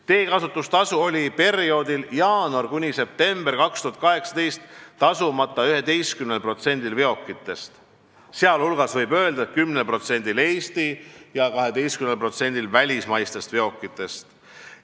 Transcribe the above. Teekasutustasu oli perioodil jaanuarist septembrini 2018 tasumata 11%-l veokitest, sh 10%-l Eesti veokitest ja 12%-l välismaistest veokitest.